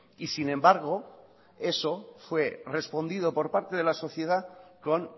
y sin embargo eso fue respondido por parte de la sociedad con